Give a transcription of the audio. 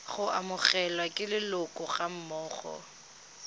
go amogelwa ke leloko gammogo